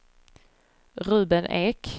Ruben Ek